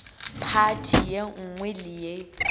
phathi ye nngwe le ye